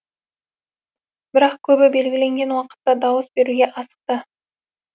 бірақ көбі белгіленген уақытта дауыс беруге асықты